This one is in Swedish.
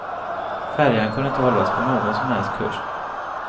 Färjan kunde inte hållas på någon som helst kurs.